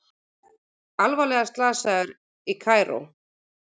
Alvarlega slasaður í Kaíró